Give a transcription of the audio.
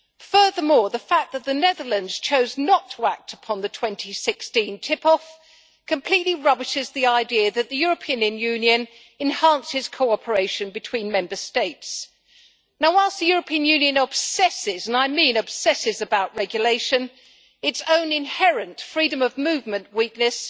Furthermore, the fact that the Netherlands chose not to act upon the 2016 tip off completely rubbishes the idea that the European Union enhances cooperation between Member States. Whilst the European Union obsesses and I mean obsesses about regulation, its own inherent freedom of movement weakness